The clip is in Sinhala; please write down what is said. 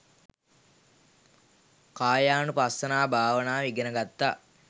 කායානුපස්සනා භාවනාව ඉගෙන ගත්තා